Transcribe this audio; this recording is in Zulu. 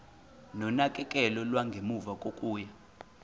nonakekelo lwangemuva kokuya